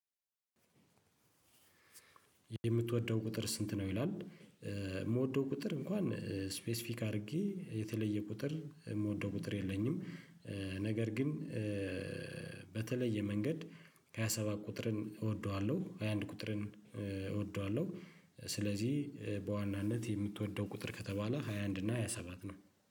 የምትወደው ቁጥር ስንት ነው? ይላል የምወደው ቁጥር እንኳን ስፔሲፊክ አድርጌ የተለየ ቁጥር የምወደው ቁጥር የለኝም። ነገር ግን በተለየ መንገድ ከሃያ ሰባት ቁጥርን እወደዋለሁ። ሃያ አንድ ቁጥርን እወደዋለሁ። ስለዚህ በዋናነት የምትወደው ቁጥር ከተባለ ሃያ አንድ እና ሃያ ሰባት ነው